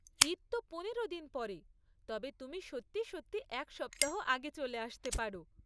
ঈদ তো পনেরো দিন পরে, তবে তুমি সত্যি সত্যি এক সপ্তাহ আগে চলে আসতে পারো।